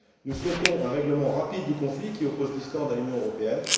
Nous souhaitons un règlement rapide du conflit qui oppose l'Islande à l'Union européenne.